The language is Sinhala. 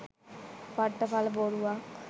පට්ට පල බොරුවක්.